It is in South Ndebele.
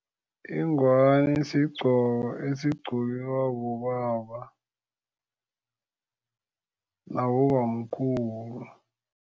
Ingwani sigqoko esigqokiwa bobaba nabobamkhulu.